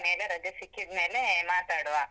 ಮೇಲೆ, ರಜೆ ಸಿಕ್ಕಿದ್ ಮೇಲೆ ಮಾತಾಡುವ.